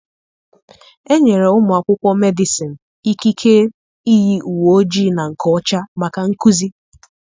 Enyere ụmụ akwụkwọ Medịsịn ikike iyi uwe ojii na nke ọcha maka nkuzi.